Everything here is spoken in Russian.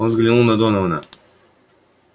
он взглянул на донована